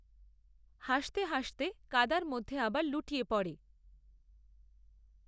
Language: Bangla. হাসতে হাসতে কাদার মধ্যে আবার লুটিয়ে পড়ে।